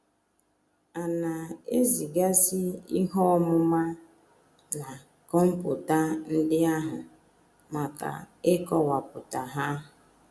A na - ezigazi ihe ọmụma a na kọmputa ndị ahụ maka ịkọwapụta ha.